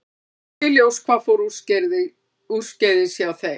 Ekki er ljóst hvað fór úrskeiðis hjá þeim.